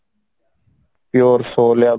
pure soul